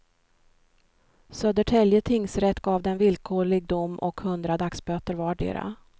Södertälje tingsrätt gav dem villkorlig dom och hundra dagsböter vardera.